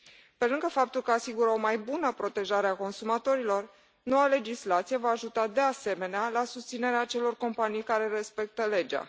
Pe lângă faptul că asigură o mai bună protejare a consumatorilor, noua legislație va ajuta, de asemenea, la susținerea acelor companii care respectă legea.